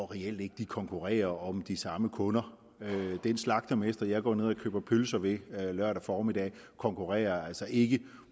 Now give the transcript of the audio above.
reelt ikke de konkurrerer om de samme kunder den slagtermester jeg går ned og køber pølser ved lørdag formiddag konkurrerer altså ikke